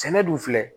Sɛnɛ dun filɛ